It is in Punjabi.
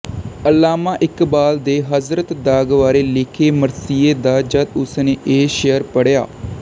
ਅਲਾਮਾ ਇਕਬਾਲ ਦੇ ਹਜ਼ਰਤ ਦਾਗ਼ ਬਾਰੇ ਲਿਖੇ ਮਰਸੀਏ ਦਾ ਜਦ ਉਸ ਨੇ ਇਹ ਸ਼ਿਅਰ ਪੜ੍ਹਿਆ